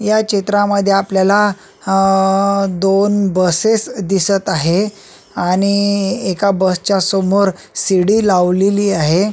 या चित्रामध्ये आपल्याला अ दोन बसेस दिसत आहे आणि एका बसच्या समोर शिडी लावलेली आहे.